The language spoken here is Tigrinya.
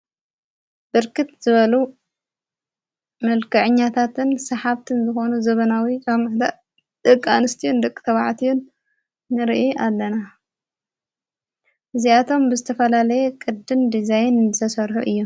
ብርክት ዝበሉ ምልከዕኛታትን ሰሓብትን ዝኾኑ ዘበናዊ ቃምዕተእ ደቃንስትዩን ድቕ ተብዓትዩን ንርኢ ኣለና እዚኣቶም ብስተፈላለየ ቅድን ዲዛይን ዘሠርሑ እዮም።